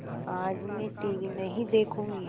आज मैं टीवी नहीं देखूँगी